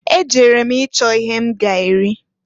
Ejere m ịchọ ihe m ga-eri.